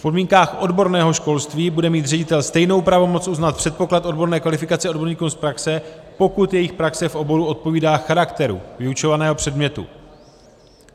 V podmínkách odborného školství bude mít ředitel stejnou pravomoc uznat předpoklad odborné kvalifikace odborníkům z praxe, pokud jejich praxe v oboru odpovídá charakteru vyučovaného předmětu.